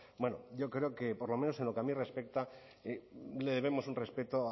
bueno yo creo que por lo menos en lo que a mí respecta le debemos un respeto